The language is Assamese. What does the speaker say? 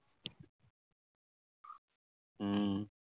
উম